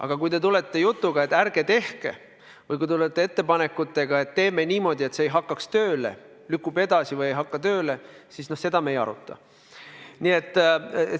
Aga kui te tulete jutuga, et ärge tehke reformi, või kui te tulete ettepanekutega, et teeme niimoodi, et lükkub edasi või ei hakka tööle, siis seda me ei aruta.